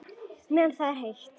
Meðan það er heitt.